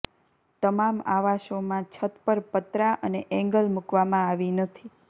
તમામ આવાસોમાં છત પર પતરા અને એંગલ મૂકવામાં આવી નથી